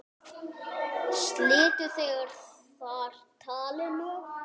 Slitu þeir þar talinu.